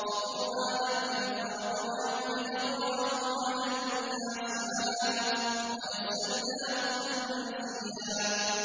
وَقُرْآنًا فَرَقْنَاهُ لِتَقْرَأَهُ عَلَى النَّاسِ عَلَىٰ مُكْثٍ وَنَزَّلْنَاهُ تَنزِيلًا